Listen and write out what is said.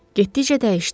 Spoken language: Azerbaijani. Getdikcə dəyişdim.